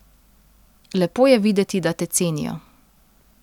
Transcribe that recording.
Lepo je videti, da te cenijo.